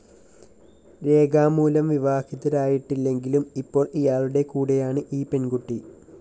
രേഖാമൂലം വിവാഹിതരായിട്ടില്ലെങ്കിലും ഇപ്പോള്‍ ഇയാളുടെ കൂടെയാണ് ഈ പെണ്‍കുട്ടി